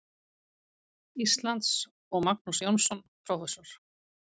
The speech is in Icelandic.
Íslands, og Magnús Jónsson, prófessor.